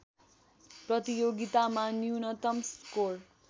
प्रतियोगितामा न्यूनतम स्कोर